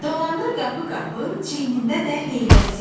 Dolanır qapı-qapı, çiyinində də heybəsi.